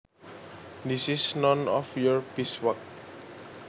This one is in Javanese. This is none of your beeswax